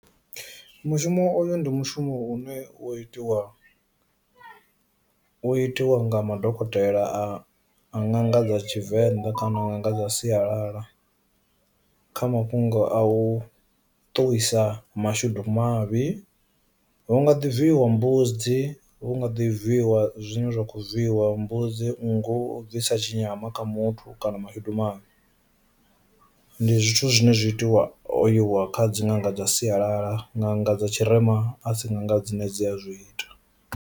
Mushumo oyo ndi mushumo une u itiwa u itiwa nga madokotela a nanga dza Tshivenḓa kana u nga nga sialala kha mafhungo a u ṱuwisa mashudu mavhi. Hu nga ḓi bvisiwa mbudzi vhu nga ḓi bviwa zwine zwa kho zwiiwa mbudzi nngu o ḓi tsa tshi nyama kha muthu kana mashudu mavhi ndi zwithu zwine zwa itiwa o iwa kha dzi nga nga dza sialala nga nga dza tshirema a tsinga nga dzine dzi a zwi ita